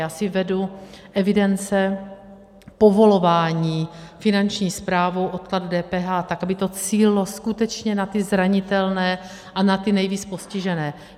Já si vedu evidence povolování Finanční správou odkladu DPH tak, aby to cílilo skutečně na ty zranitelné a na ty nejvíc postižené.